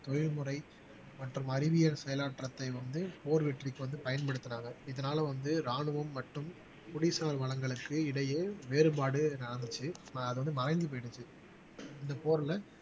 தொழில்முறை மற்றும் அறிவியல் செயலாற்றத்தை வந்து போர் வெற்றிக்கு வந்து பயன்படுத்துறாங்க இதனால வந்து ராணுவம் மற்றும் குடிசார் வளங்களுக்கு இடையே வேறுபாடு நடந்துச்சு அது வந்து மறைஞ்சு போயிடுச்சு இந்த போர்ல